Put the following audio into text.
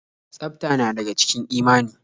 Tsafta na daga cikin imani.